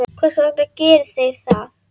Hvers vegna gera þeir það?